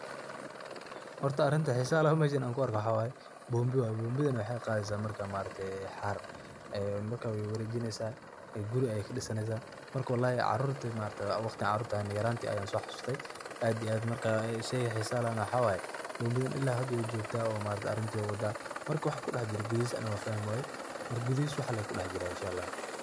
Horta arinta xisaha leh, oo meshan an ku arko mxa waye bombi. Bombidana waxey qadesa xaar ee marka wey warejinesa ,guri ayey kadisanesa wallahi carurti waqti an yarayan so xasuste aad iyo aad marka sheyga xisaha lehna waxa waye bombidan ilaa hada wey jogtaa oo arinta ayey wadaa, marka waxa fahmi waye maxa waye waxa gudihisa wax lee kudeh jiro Inshaa ALLAH.